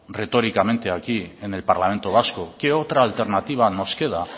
retóricamente aquí en el parlamento vasco qué otra alternativa nos queda